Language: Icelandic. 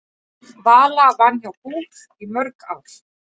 Vala vann hjá BÚR í mörg ár.